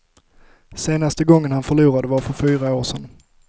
Senaste gången han förlorade var för fyra år sedan.